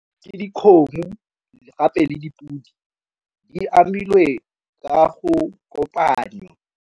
Ke dikgomo le gape le dipodi di amilwe tsa go kopanywa.